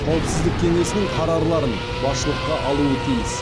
қауіпсіздік кеңесінің қарарларын басшылыққа алуы тиіс